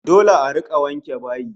Dole a rika wanke bayi